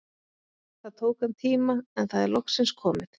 Það tók hann tíma, en það er loksins komið!